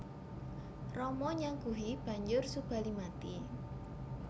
Rama nyaguhi banjur Subali mati